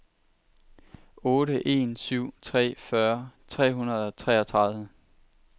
otte en syv tre fyrre tre hundrede og treogtredive